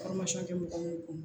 bɛ mɔgɔ mun bolo